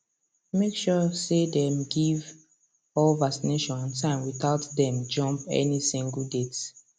make sure say dem give all vaccination on time without dem jump any single date